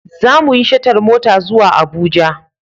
Za mu yi shatar mota zuwa Abuja.